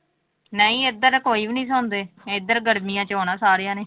ਨਹੀਂ ਇੱਧਰ ਕੋਈ ਵੀ ਨੀ ਸੌਂਦੇ, ਇੱਧਰ ਗਰਮੀਆਂ ਚ ਆਉਣਾ ਸਾਰਿਆਂ ਨੇ।